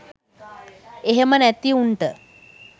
එහෙම නැති උන්ට